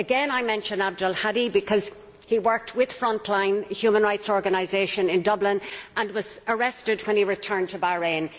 Again I mention Abdulhadi because he worked with Front Line human rights organisation in Dublin and was arrested when he returned to Bahrain.